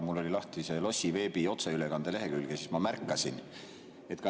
Mul oli lahti Lossiveebi otseülekande lehekülg ja seal märkasin.